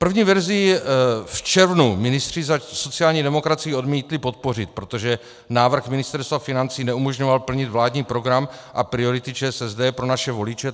První verzi v červnu ministři za sociální demokracii odmítli podpořit, protože návrh Ministerstva financí neumožňoval plnit vládní program a priority ČSSD pro naše voliče.